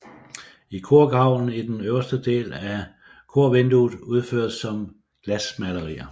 I korgavlen er den øverste del af korvinduet udført som glasmalerier